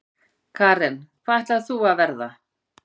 Karen: Hvað ætlar þú að verða?